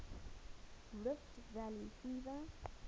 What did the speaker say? rift valley fever